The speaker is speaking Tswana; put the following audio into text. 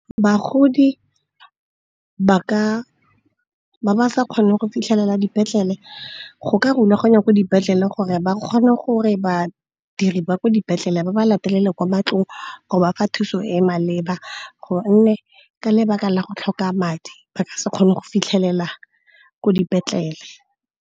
Bagodi ba ba sa kgone go fitlhelela dipetlele, go ka rulaganya ko dipetlele gore ba kgone gore badiri ba ko dipetlele ba ba latelele kwa matlong go ba fa thuso e maleba. Gonne ka lebaka la go tlhoka madi ba ka se kgone go fitlhelela ko dipetlele.